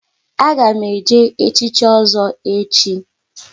A ga m eje echichi Ozo echi